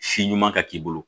Si ɲuman ka k'i bolo